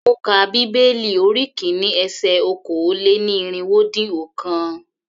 Ó ka bíbélì orí kìíní ese okòó-lé-ní-irínwó-dín-ọ̀kan.